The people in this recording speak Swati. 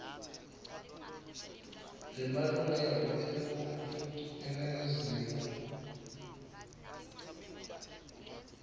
lemalungelo eluntfu eningizimu